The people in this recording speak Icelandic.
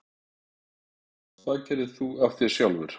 Hvað gerðir þú af þér sjálfur?